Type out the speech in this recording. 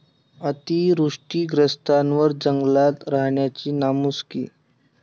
अतिवृष्टीग्रस्तांवर जंगलात राहण्याची नामुष्की!